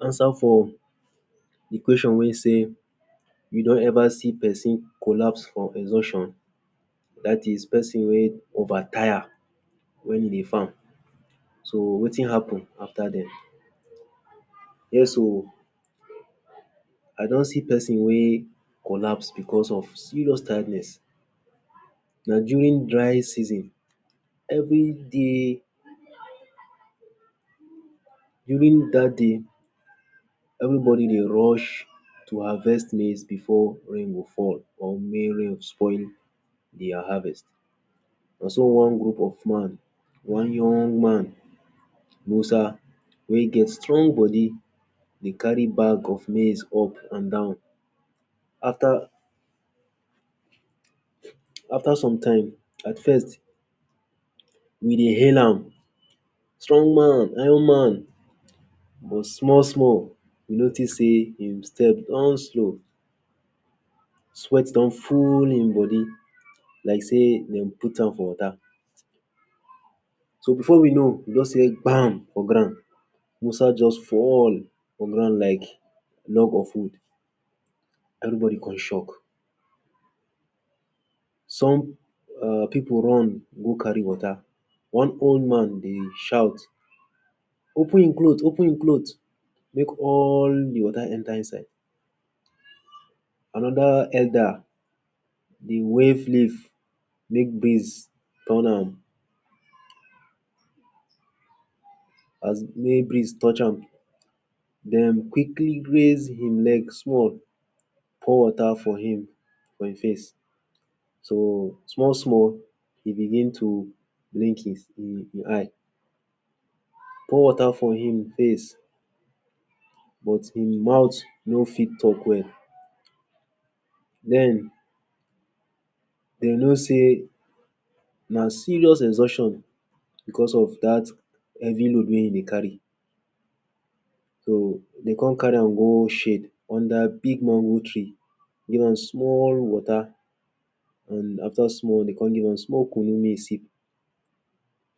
Answer for de question wey say, “you don ever seen person collapse for exhaustion?, dat is person wey over tire wey wen e dey farm. So wetin happen after den?”. Yes oo, I don see person wey collapse because of serious tiredness. Na during dry season. Everyday, during dat day everybody dey rush to harvest maize before rain go fall or make rain spoil their harvest. Na so one group of man, one young man, Musa wey get strong body dey carry bag of maize up and down. After, after sometime at first we dey hail am, “strong man, iron man” but small small we notice sey his footsteps don slow, sweat don full im body like sey dem put am for water. So before we know we just here “gbam” for ground. Musa just fall for ground like log of wood. Everybody con shock. Some um pipu run go carry water, one old man dey shout “open im cloth, open im cloth, make all de water enter inside”. Another elder dey wave leaf make breeze turn am as make breeze touch am. Dem quickly raise im leg small, pour water for him, for im face. So small small he begin to blink im? eye. Pour water for im face but im mouth no fit talk well. Den, dey know sey na serious exhaustion because of dat heavy load wey im dey carry. So dem come carry am go shade, under big mango tree. Give am small water and after small dem come give am small kunu make e sip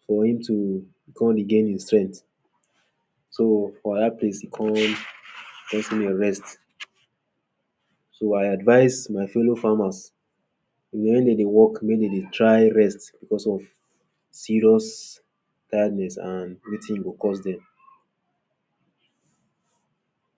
for him to come regain his strength. So for dat place e come let him rest. So I advice my fellow farmers wen dem dey work, make dem dey try rest because of serious tiredness and wetin e go cause dem.